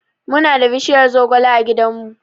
Muna da bishiyar zogale a gidanmu.